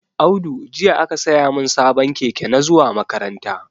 Audu jiya aka siyamin sabon keke na zuwa makaranta